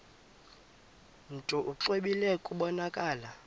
mntu exwebile kubonakala